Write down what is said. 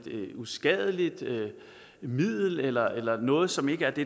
uskadeligt middel eller eller noget som ikke er det